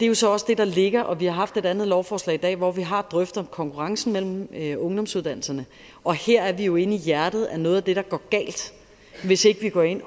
jo så også det der ligger vi har haft et andet lovforslag i dag hvor vi har drøftet konkurrencen mellem ungdomsuddannelserne og her er vi jo inde i hjertet af noget af det der går galt hvis ikke vi går ind